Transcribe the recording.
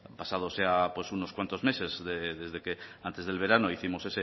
pues unos cuantos meses desde que antes del verano hicimos